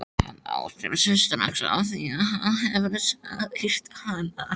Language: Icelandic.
Hann áttar sig strax á því að hann hefur sært hana.